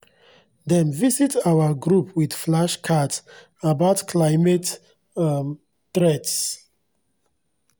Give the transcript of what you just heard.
dem visit our group with flashcards about climate um threats.